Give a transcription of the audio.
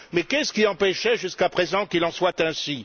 Mais qu'est ce qui empêchait jusqu'à présent qu'il en soit ainsi?